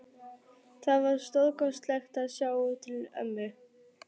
Það var stórkostlegt að sjá til ömmu.